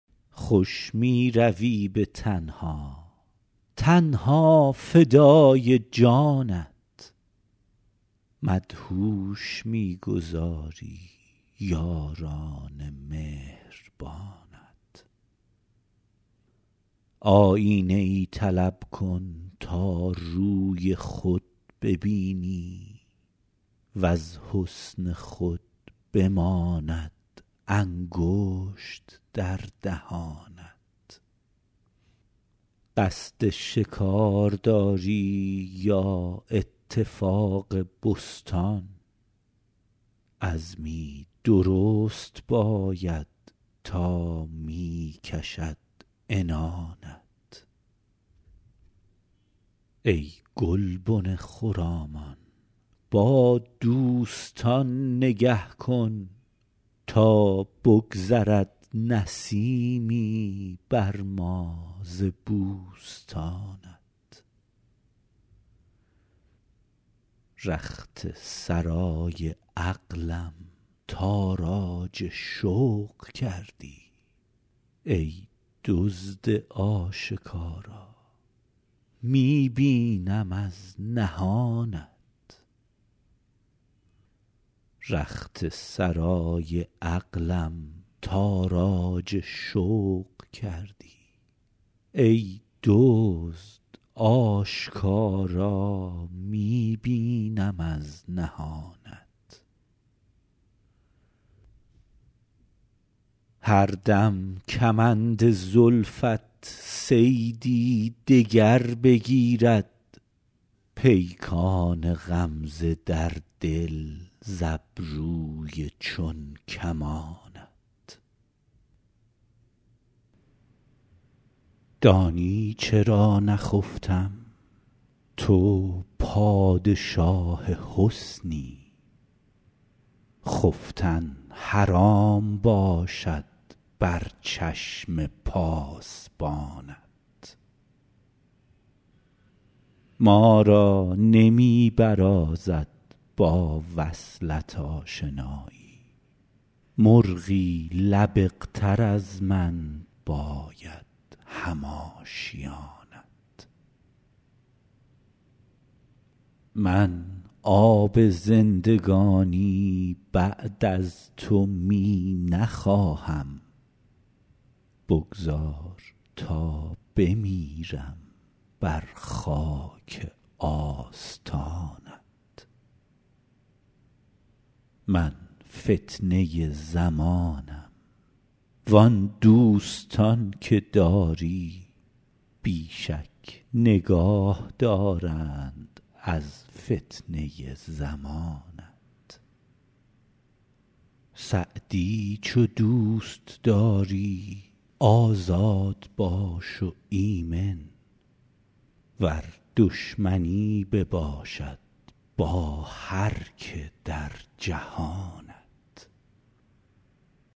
خوش می روی به تنها تن ها فدای جانت مدهوش می گذاری یاران مهربانت آیینه ای طلب کن تا روی خود ببینی وز حسن خود بماند انگشت در دهانت قصد شکار داری یا اتفاق بستان عزمی درست باید تا می کشد عنانت ای گلبن خرامان با دوستان نگه کن تا بگذرد نسیمی بر ما ز بوستانت رخت سرای عقلم تاراج شوق کردی ای دزد آشکارا می بینم از نهانت هر دم کمند زلفت صیدی دگر بگیرد پیکان غمزه در دل ز ابروی چون کمانت دانی چرا نخفتم تو پادشاه حسنی خفتن حرام باشد بر چشم پاسبانت ما را نمی برازد با وصلت آشنایی مرغی لبق تر از من باید هم آشیانت من آب زندگانی بعد از تو می نخواهم بگذار تا بمیرم بر خاک آستانت من فتنه زمانم وان دوستان که داری بی شک نگاه دارند از فتنه زمانت سعدی چو دوست داری آزاد باش و ایمن ور دشمنی بباشد با هر که در جهانت